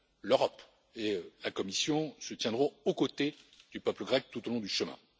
L'Europe et la Commission se tiendront aux côtés du peuple grec tout au long du chemin.